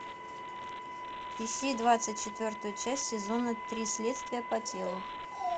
ищи двадцать четвертую часть сезона три следствие по телу